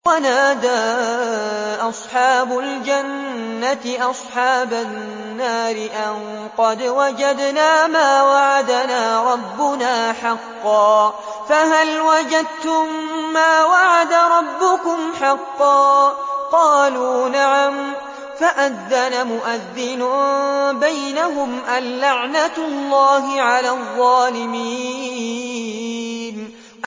وَنَادَىٰ أَصْحَابُ الْجَنَّةِ أَصْحَابَ النَّارِ أَن قَدْ وَجَدْنَا مَا وَعَدَنَا رَبُّنَا حَقًّا فَهَلْ وَجَدتُّم مَّا وَعَدَ رَبُّكُمْ حَقًّا ۖ قَالُوا نَعَمْ ۚ فَأَذَّنَ مُؤَذِّنٌ بَيْنَهُمْ أَن لَّعْنَةُ اللَّهِ عَلَى الظَّالِمِينَ